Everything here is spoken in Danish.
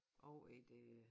Over i det